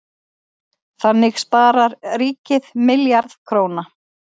Þannig sparar ríkið milljarð króna.